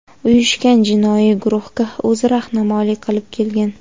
uyushgan jinoiy guruhga o‘zi rahnamolik qilib kelgan.